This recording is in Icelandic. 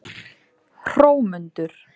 Hrómundur